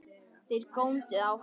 Þeir góndu á hann.